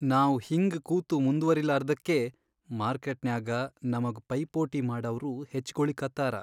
ನಾವ್ ಹಿಂಗ್ ಕೂತು ಮುಂದ್ವರಿಲಾರ್ದಕ್ಕೇ ಮಾರ್ಕೆಟ್ನ್ಯಾಗ ನಮಗ್ ಪೈಪೋಟಿ ಮಾಡವ್ರು ಹೆಚ್ಗೊಳಿಕತ್ತಾರ.